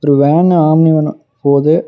ஒரு van Omni வேனும் போது.